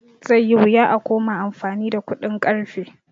Zai yi wuya a koma amfani da kuɗin ƙarfe